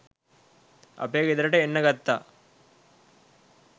අපේ ගෙදරට එන්න ගත්තා